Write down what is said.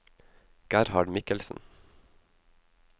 Gerhard Mikkelsen